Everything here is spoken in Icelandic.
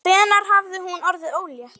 Hvenær hafði hún orðið ólétt?